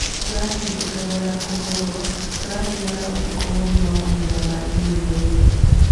Tũratindĩkagwo na kũhũrwo, tũrathiaga ũtũkũ mũgima, mahinda mangĩ mĩigua-inĩ"